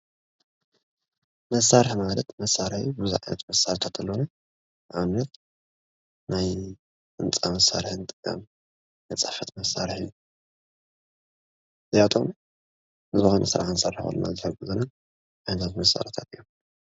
መሳርሒ ማለት መሳርሒ ብዙሕ ዓይነት መሳርሒታት ኣለውና። ንኣብነት ናይ ህንፃ መሳሪሒ ንጥቀም ናይ ፅሕፍት መሳርሒ እዚኣቶም ንዘኮነ ስራሕ ክንሰርሕ ከለና ዝሕግዙና ዓይነታት መሳሪሒታት እዮም።